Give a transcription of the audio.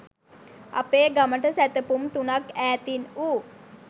අපේ ගමට සැතපුම් තුනක් ඈතින් වූ